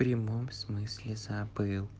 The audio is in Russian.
прямом в смысле забыл